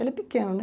Ele é pequeno, né?